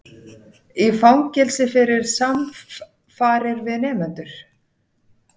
Í fangelsi fyrir samfarir við nemendur